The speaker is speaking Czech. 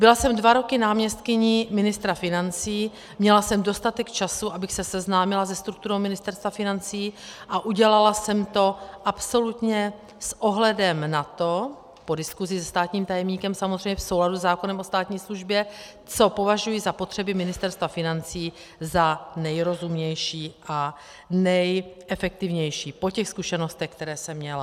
Byla jsem dva roky náměstkyní ministra financí, měla jsem dostatek času, abych se seznámila se strukturou Ministerstva financí, a udělala jsem to absolutně s ohledem na to - po diskusi se státním tajemníkem samozřejmě v souladu se zákonem o státní službě -, co považuji za potřeby Ministerstva financí za nejrozumnější a nejefektivnější po těch zkušenostech, které jsem měla.